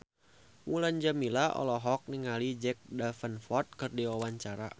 Mulan Jameela olohok ningali Jack Davenport keur diwawancara